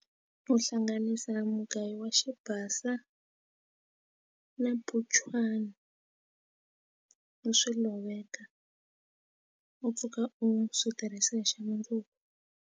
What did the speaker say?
Uhlanganisa na mugayo wa xi basa na buchwana u swi loveka u pfuka u swi tirhisa hi xa mundzuku.